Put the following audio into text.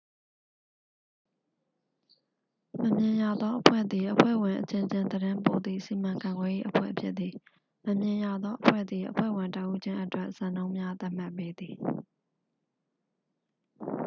"""မမြင်ရသော အဖွဲ့" သည် အဖွဲ့ဝင်အချင်းချင်း သတင်းပို့သည့် စီမံခန့်ခွဲရေး အဖွဲ့ဖြစ်သည်။ မမြင်ရသောအဖွဲ့သည် အဖွဲ့ဝင်တစ်ဦးချင်းအတွက် စံနှုန်းများ သတ်မှတ်ပေးသည်။